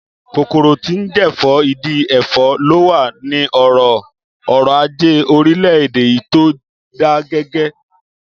Kòkòrò tí ń jẹ̀fọ́, ìdí ẹ̀fọ́ ló wà ní ọ̀rọ̀ ọrọ̀-ajé orílẹ̀-èdè yìí tó dágẹgẹ